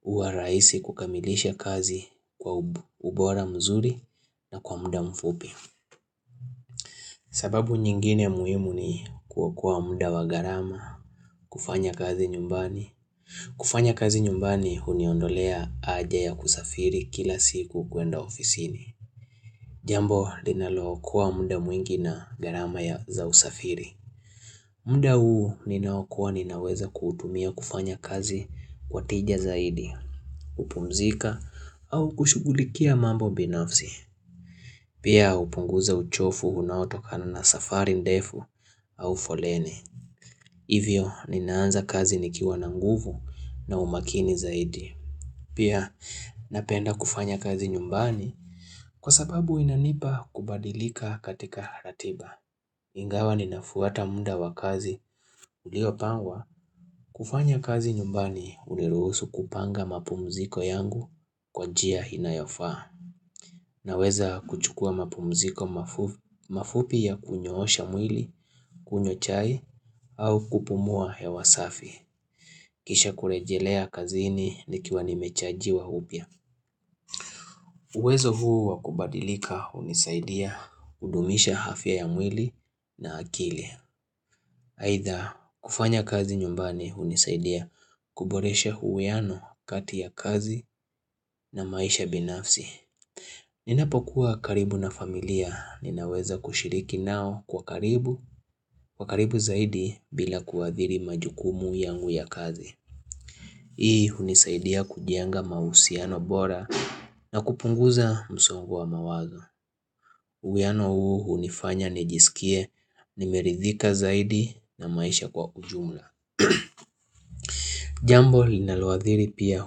huwa rahisi kukamilisha kazi kwa ubora mzuri na kwa muda mfupi. Sababu nyingine muhimu ni kuokoa muda wa gharama, kufanya kazi nyumbani. Kufanya kazi nyumbani huniondolea haja ya kusafiri kila siku kuenda ofisini. Jambo linalookoa muda mwingi na gharama ya za usafiri. Mda huu ninaokoa ninaweza kuutumia kufanya kazi kwa tija zaidi, kupumzika au kushughulikia mambo binafsi. Pia hupunguza uchofu unaotokana na safari ndefu au foleni. Hivyo ninaanza kazi nikiwa na nguvu na umakini zaidi. Pia napenda kufanya kazi nyumbani kwa sababu inanipa kubadilika katika ratiba. Ingawa ninafuata mda wa kazi uliopangwa. Kufanya kazi nyumbani uliruhusu kupanga mapumziko yangu kwa njia inayofaa. Naweza kuchukua mapumziko mafu mafupi ya kunyoosha mwili, kunywa chai au kupumua hewa safi. Kisha kurejelea kazini nikiwa nimechajiwa upya. Uwezo huu wakubadilika hunisaidia kudumisha afya ya mwili na akili. Aidha kufanya kazi nyumbani hunisaidia kuboresha huwiano kati ya kazi na maisha binafsi. Ninapokuwa karibu na familia ninaweza kushiriki nao kwa karibu, kwa karibu zaidi bila kuadhiri majukumu yangu ya kazi. Hii hunisaidia kujenga mahusiano bora na kupunguza msongo wa mawazo. Uwiano huu hunifanya nijiskie nimeridhika zaidi na maisha kwa ujumla Jambo linaloadhiri pia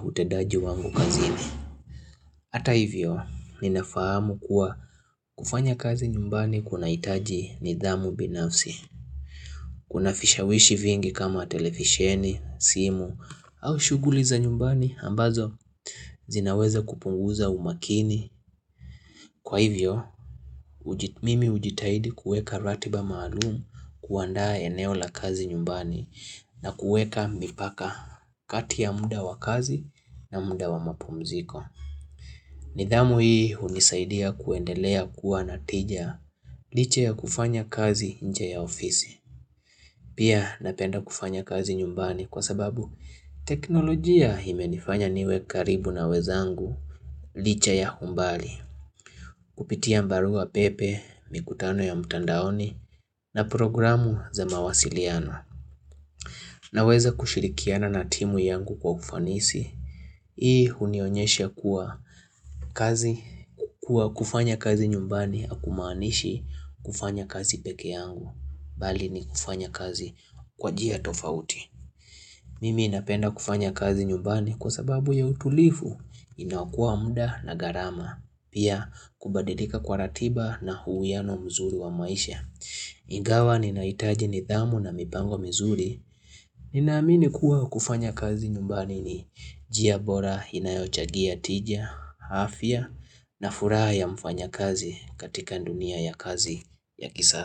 utendaji wangu kazini Hata hivyo ninafahamu kuwa kufanya kazi nyumbani kunahitaji nidhamu binafsi Kuna fishawishi vingi kama televisheni, simu au shughuli za nyumbani ambazo zinaweza kupunguza umakini. Kwa hivyo, mimi hujitahidi kuweka ratiba maalumu kuandaa eneo la kazi nyumbani na kueka mipaka kati ya muda wa kazi na muda wa mapumziko. Nidhamu hii hunisaidia kuendelea kuwa na tija liche ya kufanya kazi nje ya ofisi. Pia napenda kufanya kazi nyumbani kwa sababu teknolojia imenifanya niwe karibu na wenzangu liche ya umbali. Kupitia mbarua pepe, mikutano ya mtandaoni na programu za mawasiliano naweza kushirikiana na timu yangu kwa ufanisi. Hii hunionyesha kuwa kazi kwa kufanya kazi nyumbani hakumaanishi kufanya kazi peke yangu bali ni kufanya kazi kwa njia tofauti. Mimi napenda kufanya kazi nyumbani kwa sababu ya utulivu inaokoa muda na gharama. Pia kubalidika kwa ratiba na huwiano mzuri wa maisha Ingawa ninaitaji nidhamu na mipango mizuri Ninaamini kuwa kufanya kazi nyumbani ni njia bora inayochagia tija, afya na furaha ya mfanyakazi katika dunia ya kazi ya kisa.